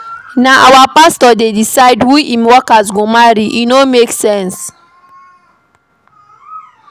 Na our pastor dey decide who im workers go marry, e no make sense.